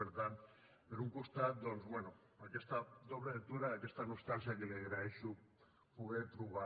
per tant per un costat doncs bé aquesta doble lectura i aquesta nostàlgia que li agraeixo poder trobar